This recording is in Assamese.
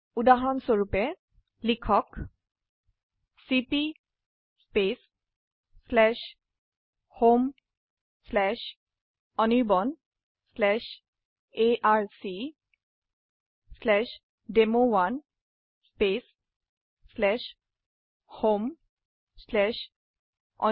উদাহৰণস্বৰুপ লিখক চিপি homeanirbanarcdemo1homeanirban